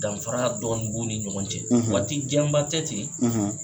Danfaraya dɔn b'u ni ɲɔgɔn cɛ, , waati jan ba tɛ ten,